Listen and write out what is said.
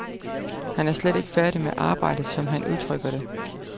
Han er slet ikke færdig med arbejdet, som han udtrykker det.